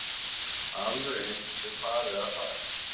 Alveg eins er farið að þar.